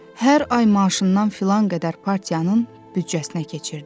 Hər ay maaşından filan qədər partiyanın büdcəsinə keçirdi.